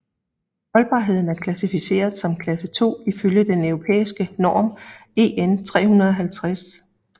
Holdbarheden er klassificeret som klasse 2 ifølge den europæiske norm EN350